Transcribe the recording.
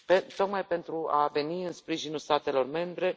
tocmai pentru a veni în sprijinul statelor membre.